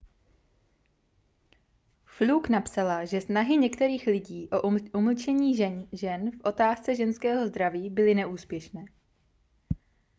fluke napsala že snahy některých lidí o umlčení žen v otázce ženského zdraví byly neúspěšné